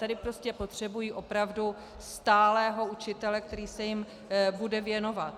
Tady prostě potřebují opravdu stálého učitele, který se jim bude věnovat.